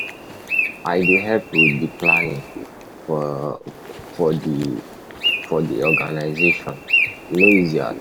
I dey help with di planning for di for di organisation, e no easy at all.